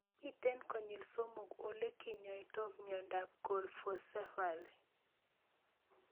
Mito konyil somok ole kinyoitoi miondop Colpocephaly